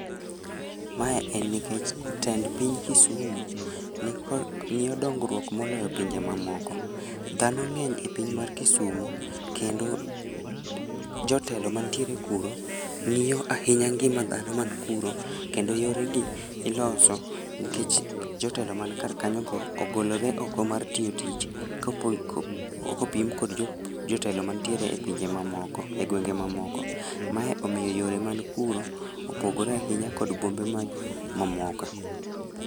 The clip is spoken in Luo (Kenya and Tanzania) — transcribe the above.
Mae en nikech tend piny Kisumu, nikod ng'iyo dongruok moloyo pinje mamoko. Dhano ng'eny e piny mar Kisumo kendo jotelo mantiere kuro, ng'iyo ahinya ngima dhano man kuro, kendo yoregi iloso nikech jotelo man kar kanyo go ogolore oko mar tiyo tich, kopo kopim kod jotelo mantiere e pinje mamoko e gwenge mamoko. Mae omiyo yore man kuro, opogore ahinya kod bombe ma mamoka